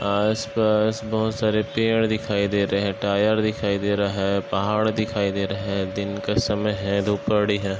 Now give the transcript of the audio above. पास बोहोत सारे पेड़ दिखाई दे रहे है टायर दिखाई दे रहा है पहाड़ दिखाई दे रहे है दिन का समय है है।